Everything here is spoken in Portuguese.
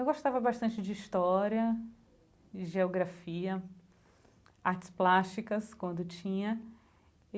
Eu gostava bastante de história, de geografia, artes plásticas, quando tinha.